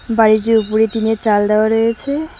বাড়িটির ওপরে টিনের চাল দেওয়া রয়েছে।